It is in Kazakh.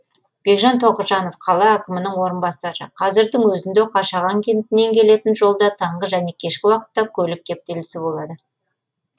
бекжан тоғжанов қала әкімінің орынбасары қазірдің өзінде қашаған кентінен келетін жолда таңғы және кешкі уақытта көлік кептелісі болады